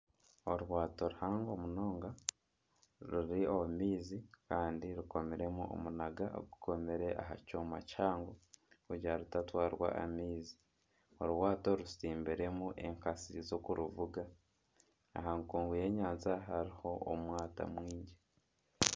Eryaato rihango munonga riri omumaizi Kandi rikomiremu omunaga ogu komire aha kyooma kihango kugira ngu ritatwarwa amaizi orwaato rutsimbiremu enkatsi z'okuruvuga aha nkungu y'enyanja hariho omwata mwingi.